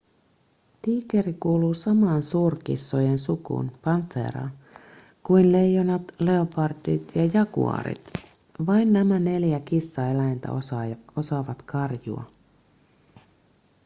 tiikeri kuuluu samaan suurkissojen sukuun panthera kuin leijonat leopardit ja jaguaarit. vain nämä neljä kissaeläintä osaavat karjua